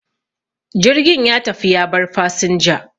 jirgin ya tafi ya bar fasinja